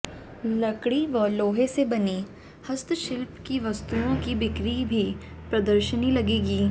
लकड़ी व लोहे से बनी हस्तशिल्प की वस्तुओं की बिक्री भी प्रदर्शनी लगेगी